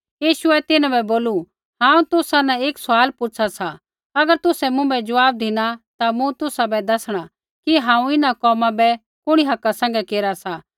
यीशुऐ तिन्हां बै बोलू हांऊँ तुसा न एक सवाल पुछ़ा सा अगर तुसै मुँभै ज़वाब धिना ता मूँ तुसाबै दैसणा कि हांऊँ इन्हां कोमा बै कुणी हका सैंघै केरा सा